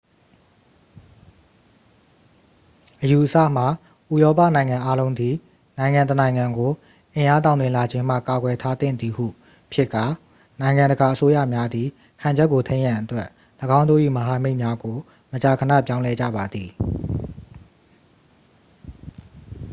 အယူအဆမှာ ဥရောပနိုင်ငံအားလုံးသည် နိုင်ငံတစ်နိုင်ငံကို အင်အားတောင့်တင်းလာခြင်းမှ ကာကွယ်ထားသင့်သည်ဟု ဖြစ်ကာ နိုင်ငံတကာအစိုးရများသည် ဟန်ချက်ကိုထိန်းရန်အတွက် ၎င်းတို့၏မဟာမိတ်များကို မကြာခဏပြောင်းလဲကြပါသည်